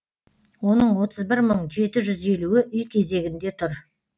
оның отыз бір мың жеті жүз елуі үй кезегінде тұр